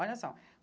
Olha só.